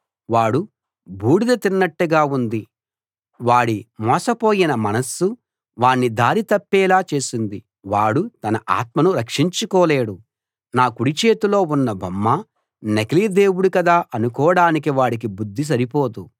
వాడు బూడిద తిన్నట్టుగా ఉంది వాడి మోసపోయిన మనస్సు వాణ్ణి దారి తప్పేలా చేసింది వాడు తన ఆత్మను రక్షించుకోలేడు నా కుడి చేతిలో ఉన్న బొమ్మ నకిలీ దేవుడు కదా అనుకోడానికి వాడికి బుద్ధి సరిపోదు